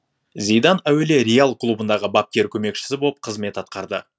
зидан әуелі реал клубындағы бапкер көмекшісі боп қызмет атқарды